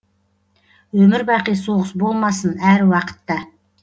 өмір бақи соғыс болмасын әр уақытта